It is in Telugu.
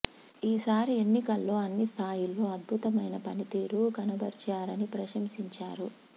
ఈ సారి ఎన్నికల్లో అన్ని స్థాయిల్లో అద్భుతమైన పనితీరు కనబరిచారని ప్రశంసించారు